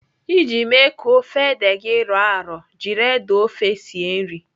Iji mee ka ofe ede gị rọọ arọ, jiri ede ofe sie nri.